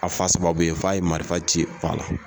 A fa sababu ye f'a ye marifa ci fa la.